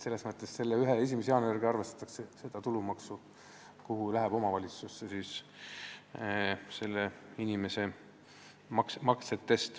Selle ühe päeva, 1. jaanuari järgi arvestatakse ju tulumaksu, mis läheb inimeste maksetest omavalitsusele.